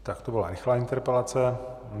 Tak to byla rychlá interpelace.